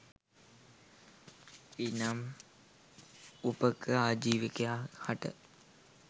එනම් උපක ආජීවකයා හට